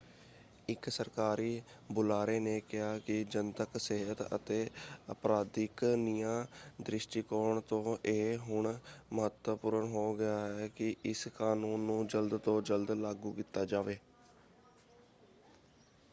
ਇੱਕ ਸਰਕਾਰੀ ਬੁਲਾਰੇ ਨੇ ਕਿਹਾ ਕਿ ਜਨਤਕ ਸਿਹਤ ਅਤੇ ਅਪਰਾਧਿਕ ਨਿਆਂ ਦ੍ਰਿਸ਼ਟੀਕੋਣ ਤੋਂ ਇਹ ਹੁਣ ਮਹੱਤਵਪੂਰਨ ਹੋ ਗਿਆ ਹੈ ਕਿ ਇਸ ਕਾਨੂੰਨ ਨੂੰ ਜਲਦ ਤੋਂ ਜਲਦ ਲਾਗੂ ਕੀਤਾ ਜਾਵੇ।